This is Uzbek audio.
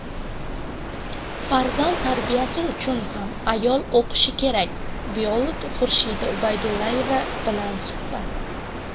"Farzand tarbiyasi uchun ham ayol o‘qishi kerak" - biolog Xurshida Ubaydullayeva bilan suhbat.